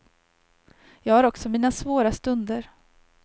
Jag har också mina svåra stunder.